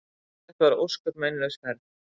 Þetta var ósköp meinlaus ferð.